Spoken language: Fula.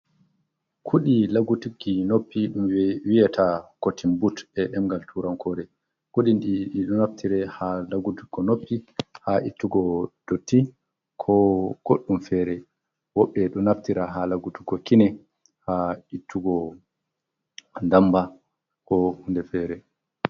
Kuɗi lagutuki noppi ɗum wi'ata kotin but e ɗemgal turankore. Kuɗi ɗi ɗiɗo naftire haa lagutugo noppi, haa ittugo dotti ko goɗɗum fere. Woɓɓe ɗo naftira haa lagutugo kine, haa ittugo ndamba ko hunde fere.